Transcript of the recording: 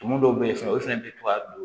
Tumu dɔw bɛ yen fana olu fana bɛ to ka don